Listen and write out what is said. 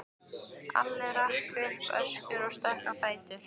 Alli rak upp öskur og stökk á fætur.